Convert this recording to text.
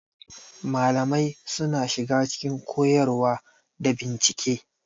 Malamai suna shiga cikin koyarwa da bincike.